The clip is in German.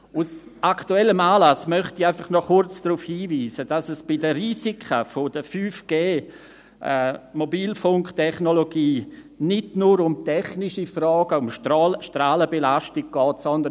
Aus aktuellem Anlass möchte ich einfach noch kurz darauf hinweisen, dass es bei den Risiken der 5G-Mobilfunktechnologie nicht nur um technische Fragen, um Strahlenbelastung geht, sondern: